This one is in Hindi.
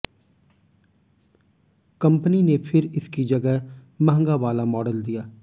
कंपनी ने फिर इसकी जगह महंगा वाला मॉडल दिया